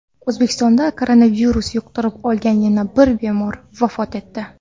O‘zbekistonda koronavirus yuqtirib olgan yana bir bemor vafot etdi.